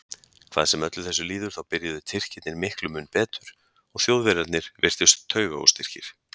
Hvað sem öllu þessu líður þá byrjuðu Tyrkirnir miklu mun betur og Þjóðverjarnir virtust taugaóstyrkir.